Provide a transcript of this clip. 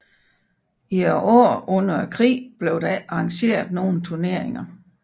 I årene under krigen blev der ikke arrangeret nogle turneringer